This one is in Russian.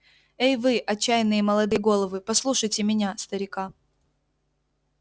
эй вы отчаянные молодые головы послушайте меня старика